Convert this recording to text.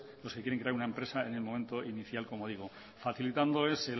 los que quieran crean una empresa en el momento inicial como digo facilitándoles